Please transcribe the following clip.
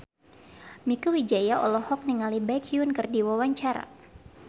Mieke Wijaya olohok ningali Baekhyun keur diwawancara